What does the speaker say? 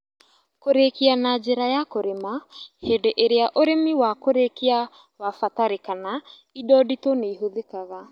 Kũrikia na njĩra ya kũrĩma - hĩndĩ ĩrĩa ũrĩmi wa kũrikia wabatarikana indo nditũ nĩihũthĩkaga